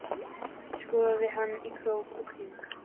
Skoðaði hana í krók og kring.